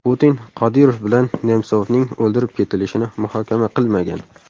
Putin Qodirov bilan Nemsovning o‘ldirib ketilishini muhokama qilmagan.